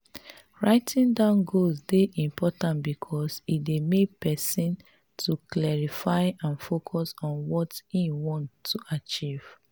writing down goals dey important because e dey make pesin to clarify and focus on what im want to achieve.